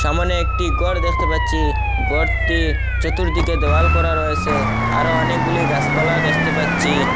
সামনে একটি ঘর দেখতে পাচ্চি ঘরটির চতুর্দিকে দেওয়াল করা রয়েসে আরো অনেকগুলি গাসপালা দেখতে পাচ্চি।